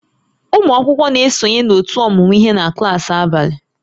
Ụmụ akwụkwọ na-esonye na ótú ọmụmụ ihe na klaasị abalị